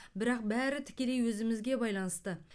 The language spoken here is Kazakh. бірақ бәрі тікелей өзімізге байланысты